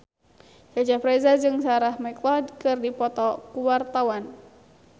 Cecep Reza jeung Sarah McLeod keur dipoto ku wartawan